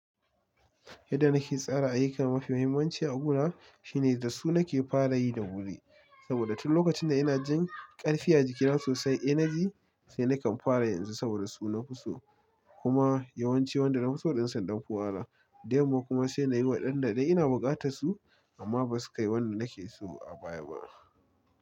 Yadda nake tsara ayyuka mafi muhimmanci a guna shine da su nake fara yi da wuri. Saboda duk lokacin da ina jin ƙarfi a jikina sosai, energy sai nakan fara yanzu saboda su nafi so. Kuma yawanci wanda nafi so ɗin sun ɗan fi wahala Da yamma kuma sai nayi wa ɗanda idan ina buƙatar su amma basu kai wanda nake so a baya ba.